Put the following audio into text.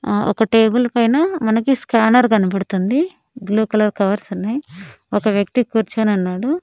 ఆ ఒక టేబుల్ పైన మనకి స్కానర్ కనబడుతుంది. బ్లూ కలర్ కవర్స్ ఉన్నాయి. ఒక వ్యక్తి కూర్చొని ఉన్నాడు.